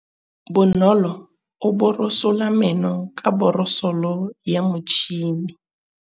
Bonolô o borosola meno ka borosolo ya motšhine.